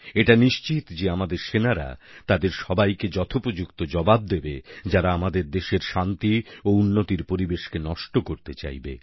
এটা নিশ্চিত যে আমাদের সেনারা তাদের সবাইকে যথোপযুক্ত জবাব দেবে যারা আমাদের দেশের শান্তি ও উন্নতির পরিবেশকে নষ্ট করতে চাইবে